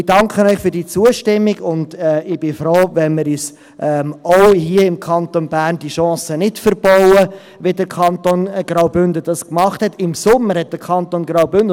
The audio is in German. Ich danke Ihnen für diese Zustimmung und bin froh, wenn wir uns, wie dies der Kanton Graubünden gemacht hat, auch hier im Kanton Bern diese Chance nicht verbauen.